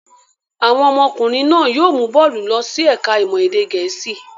Àwọn ọmọkùnrin náà yóò mú Bólú lọ sí ẹ̀ka-ìmọ̀ èdè Gẹ̀ẹ́sì.